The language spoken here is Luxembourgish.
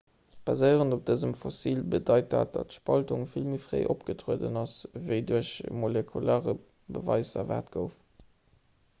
baséierend op dësem fossil bedeit dat datt d'spaltung vill méi fréi opgetrueden ass ewéi duerch de molekulare beweis erwaart gouf